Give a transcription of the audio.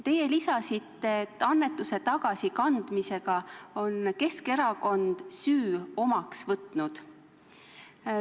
Teie lisasite, et annetuse tagasikandmisega on Keskerakond süü omaks võtnud.